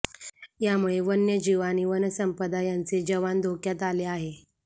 यामुळे वन्यजीव आणि वनसंपदा यांचे जवान धोक्यात आले आहे